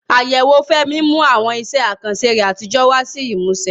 Àyẹ̀wò Fẹ́mi mú àwọn iṣẹ́ àkànṣe rẹ̀ àtijọ́ wá sí ìmúṣẹ.